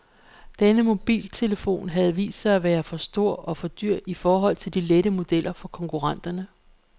Denne mobiltelefon havde vist sig at være for stor og for dyr i forhold til de lette modeller fra konkurrenterne.